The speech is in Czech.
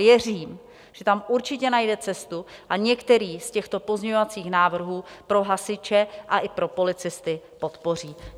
Věřím, že tam určitě najde cestu a některý z těchto pozměňovacích návrhů pro hasiče a i pro policisty podpoří.